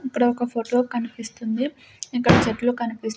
ఇక్కడ ఒక ఫోటో కనిపిస్తుంది ఇక్కడ చెట్లు కనిపిస్తు--